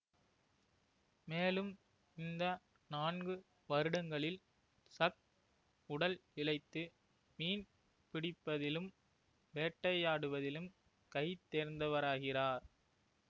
மேலும் இந்த நான்கு வருடங்களில் சக் உடல் இளைத்து மீன் பிடிப்பதிலும் வேட்டையாடுவதிலும் கைதேர்ந்தவராகிறார்